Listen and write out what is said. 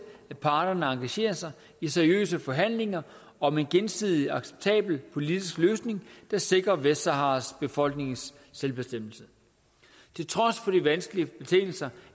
at parterne engagerer sig i seriøse forhandlinger om en gensidig acceptabel politisk løsning der sikrer vestsaharas befolknings selvbestemmelse til trods for de vanskelige betingelser